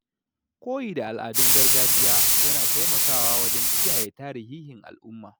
Koyi da al’adun gargajiya yana taimakawa wajen kiyaye tarihihin al’umma.